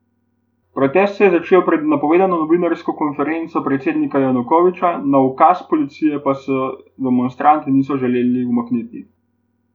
Protest se je začel pred napovedano novinarsko konferenco predsednika Janukoviča, na ukaz policije pa se demonstranti niso želeli umakniti.